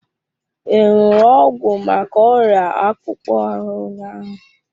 I ṅụrụ ọgwụ maka ọrịa akpụkpọ ahụ ụnyaahụ?